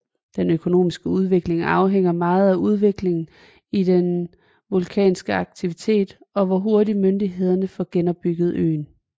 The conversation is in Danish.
Den økonomiske udvikling afhænger meget af udviklingen i den vulkanske aktivitet og hvor hurtig myndighederne får genopbygget øen